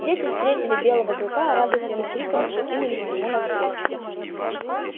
дети встретили белого клыка радостными криками и кинулись ему навстречу